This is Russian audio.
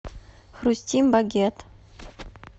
хрустим багет